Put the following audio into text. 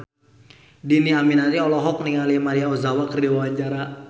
Dhini Aminarti olohok ningali Maria Ozawa keur diwawancara